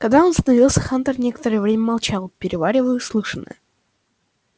когда он остановился хантер некоторое время молчал переваривая услышанное